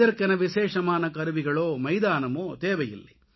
இதற்கென விசேஷமான கருவிகளோ மைதானமோ தேவையில்லை